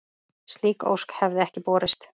Slík ósk hefði ekki borist.